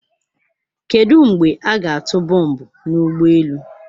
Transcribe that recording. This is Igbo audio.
Kedu mgbe a ga-atụ bọmbụ na ụgbọ elu?